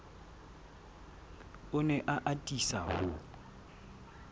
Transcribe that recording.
o ne a atisa ho